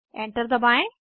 enter दबाएं